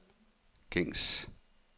gængs